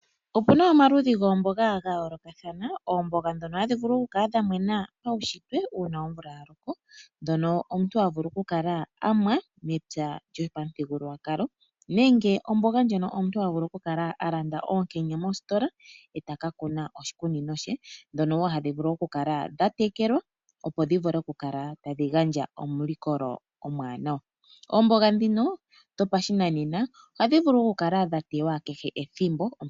Opuna omaludhi goomboga dha yoolokathana, oomboga ndhono hadhi vulu oku kala dha mena paushitwe uuna omvula ya loko ndhono omuntu ha vulu oku kala amwa mepya lyopamuthigululwakalo nenge omboga ndjono omuntu ha vulu oku kala a landa oonkenya mositola eta ka kuna moshikunino she, ndhono wo hadhi vulu oku kala dha tekelwa, opo dhi kale tadhi gandja omulikolo omwaanawa. Oomboga ndhino dhopashinanena ohadhi vulu oku kala dha tewa kehe ethimbo.